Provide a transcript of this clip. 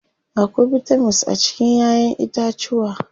Akwai bitamins a cikin ƴaƴen itacuwa.